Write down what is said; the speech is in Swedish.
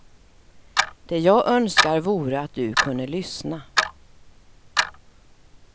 Det jag önskar vore att du kunde lyssna.